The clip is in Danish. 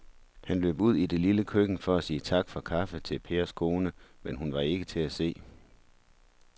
Han løb ud i det lille køkken for at sige tak for kaffe til Pers kone, men hun var ikke til at se.